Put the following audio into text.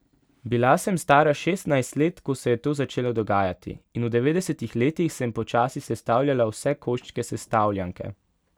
Bila sem stara šestnajst let, ko se je to začelo dogajati, in v devetdesetih letih sem počasi sestavljala vse koščke sestavljanke.